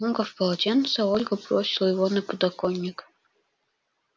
скомкав полотенце ольга бросила его на подоконник